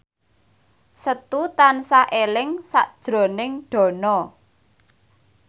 Setu tansah eling sakjroning Dono